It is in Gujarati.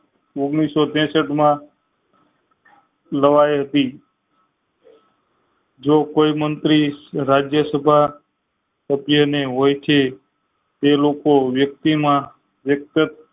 ઓગણીસો ત્રેસઠ માં નવાઈ હતી જો કોઈ મંત્રી રાજ્યસભા સભ્ય ને ઓળખી એ લોકો વ્યક્તિ માં વ્યક્ત